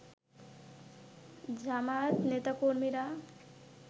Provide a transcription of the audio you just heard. জামায়াত নেতাকর্মীরা